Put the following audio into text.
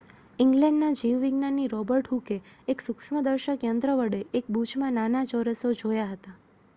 ઇંગ્લેન્ડનાં જીવ વિજ્ઞાની રોબર્ટ હૂકે એક સૂક્ષ્મ દર્શક યંત્ર વડે એક બૂચમાં નાના ચોરસો જોયા હતા